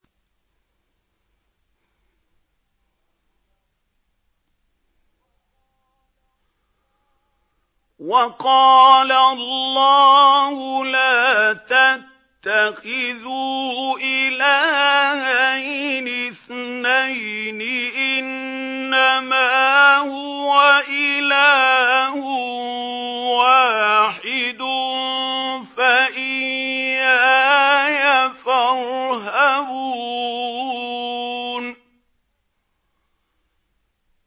۞ وَقَالَ اللَّهُ لَا تَتَّخِذُوا إِلَٰهَيْنِ اثْنَيْنِ ۖ إِنَّمَا هُوَ إِلَٰهٌ وَاحِدٌ ۖ فَإِيَّايَ فَارْهَبُونِ